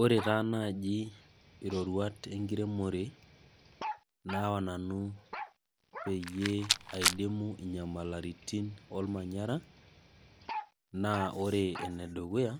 Ore taa naaji iroruat enkiremore naawa nanu peyie aidimuu inyamaliritin olmanyara naa ore ene dukuya,